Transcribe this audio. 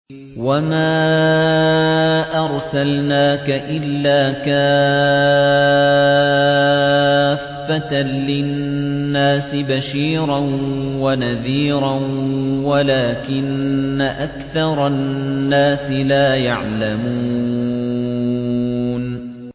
وَمَا أَرْسَلْنَاكَ إِلَّا كَافَّةً لِّلنَّاسِ بَشِيرًا وَنَذِيرًا وَلَٰكِنَّ أَكْثَرَ النَّاسِ لَا يَعْلَمُونَ